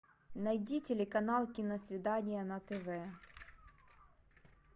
найди телеканал киносвидание на тв